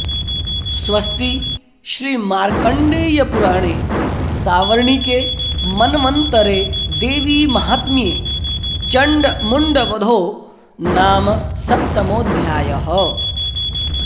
स्वस्ति श्रीमार्कण्डेयपुराणे सावर्णिके मन्वन्तरे देवीमाहात्म्ये चण्डमुण्डवधो नाम सप्तमोऽध्यायः